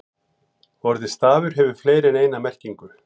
Orðið stafur hefur fleiri en eina merkingu.